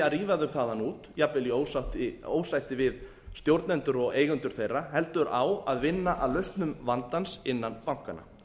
að rífa þau þaðan út jafnvel ósætti við stjórnendur og eigendur þeirra heldur á að vinna að lausnum vandans innan bankanna